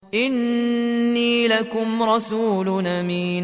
إِنِّي لَكُمْ رَسُولٌ أَمِينٌ